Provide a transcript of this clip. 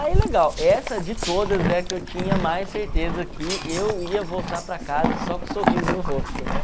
Aí legal, essa de todas é a que eu tinha mais certeza que eu ia voltar para casa só com sorriso no rosto, né?